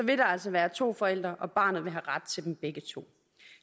der altså være to forældre og barnet vil have ret til dem begge to